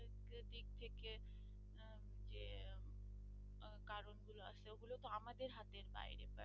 মূলত আমাদের হাতের বাইরে।